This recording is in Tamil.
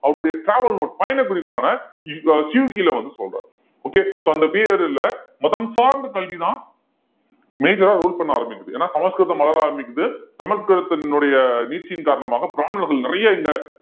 அவருடைய travel note பயண குறிப்பான சியூக்கில வந்து சொல்றாரு okay so அந்த period ல மதம் சார்ந்த கல்விதான் major ஆ rule பண்ண ஆரம்பிக்குது ஏன்னா சமஸ்கிருதம் வளர ஆரம்பிக்குது சமஸ்கிருதத்தினுடைய நீட்சியின் காரணமாக பிராமணர்கள் நிறைய இந்த